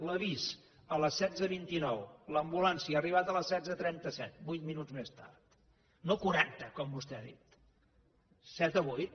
l’avís a les setze vint nou l’ambulància ha arribat a les setze trenta set vuit minuts més tard no quaranta com vostè ha dit set o vuit